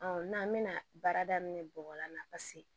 n'an bɛna baara daminɛ bɔgɔ la